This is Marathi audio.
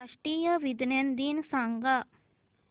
राष्ट्रीय विज्ञान दिन सांगा